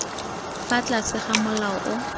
fa tlase ga molao o